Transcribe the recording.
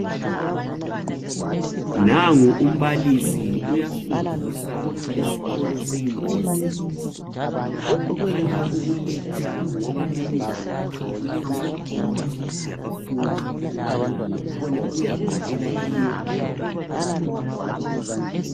Nangu umbalisi uyafundisa esikolo seYunivesithi ukhanya ukulecture ngoba emuva kwakhe kulechalkboard yabafundi ukubana bekhone ukuyabhalela kiyo.